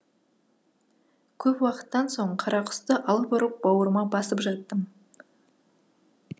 көп уақыттан соң қарақұсты алып ұрып бауырыма басып жаттым